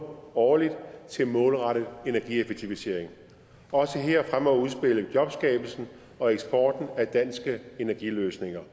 årligt til målrettet energieffektivisering også her fremmer udspillet jobskabelsen og eksporten af danske energiløsninger